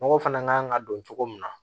Nɔgɔ fana kan ka don cogo min na